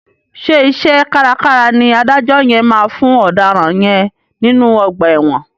Ṣé iṣẹ́ kárakára ni adájọ́ yẹn máa fún ọ̀daràn yẹn nínú ọgbà ẹ̀wọ̀n.